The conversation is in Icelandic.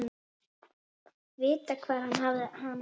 Vita hvar hann hefði hana.